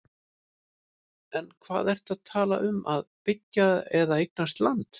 En hvað ertu að tala um að byggja og eignast land?